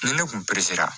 Ni ne kun la